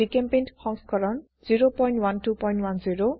জিচেম্পেইণ্ট সংস্কৰণ 01210